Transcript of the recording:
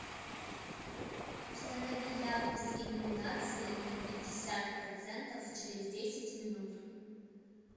установи яркость иллюминации на пятьдесят процентов через десять минут